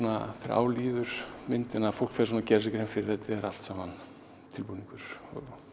á líður myndina að fólk gerir sér grein fyrir þetta er allt saman tilbúningur